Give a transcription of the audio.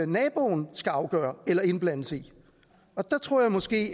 naboen skal afgøre eller indblandes i der tror jeg måske